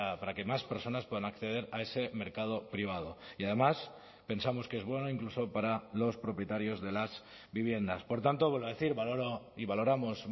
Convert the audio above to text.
para que más personas puedan acceder a ese mercado privado y además pensamos que es bueno incluso para los propietarios de las viviendas por tanto vuelvo a decir valoró y valoramos